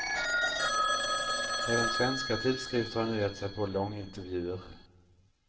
Även svenska tidskrifter har nu gett sig på långintervjuer.